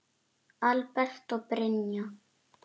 Albert og Brynja.